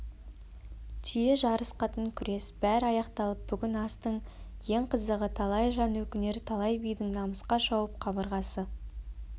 түйе жарыс қатын күрес бәрі аяқталып бүгін астың ең қызығы талай жан өкінер талай бидің намысқа шауып қабырғасы